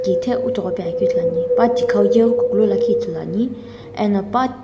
kithe üthoghope akeu ithuluani pathikhau yeghikukulu lakhi ithuluani eno pa --